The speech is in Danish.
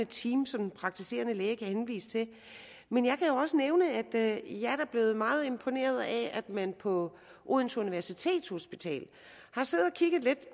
team som den praktiserende læge kan henvise til men jeg kan jo også nævne at jeg da er blevet meget imponeret af at man på odense universitetshospital har siddet og kigget lidt